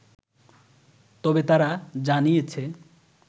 তবে, তারা জানিয়েছে